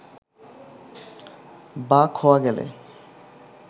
বা খোয়া গেলে